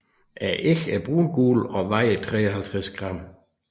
Æggene er brungule og vejer 53 gram